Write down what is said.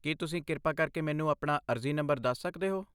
ਕੀ ਤੁਸੀਂ ਕਿਰਪਾ ਕਰਕੇ ਮੈਨੂੰ ਆਪਣਾ ਅਰਜ਼ੀ ਨੰਬਰ ਦੱਸ ਸਕਦੇ ਹੋ?